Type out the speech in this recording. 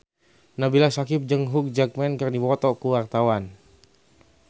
Nabila Syakieb jeung Hugh Jackman keur dipoto ku wartawan